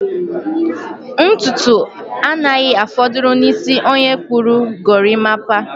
Ntutu anaghị afọdụrụ n'isi onye kpụrụ gorimapa.